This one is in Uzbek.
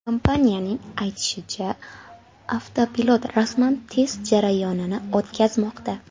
Kompaniyaning aytishicha, avtopilot rasman test jarayonini o‘tkazmoqda.